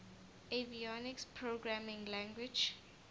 avionics programming language